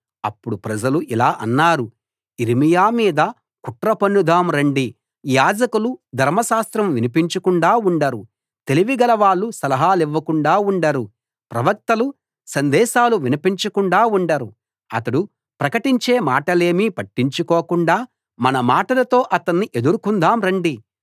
అప్పుడు ప్రజలు ఇలా అన్నారు యిర్మీయా మీద కుట్ర పన్నుదాం రండి యాజకులు ధర్మశాస్త్రం వినిపించకుండా ఉండరు తెలివిగలవాళ్ళు సలహాలివ్వకుండా ఉండరు ప్రవక్తలు సందేశాలు వినిపించకుండా ఉండరు అతడు ప్రకటించే మాటలేమీ పట్టించుకోకుండా మన మాటలతో అతన్ని ఎదుర్కొందాం రండి